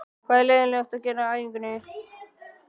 Hvað er leiðinlegast að gera á æfingum?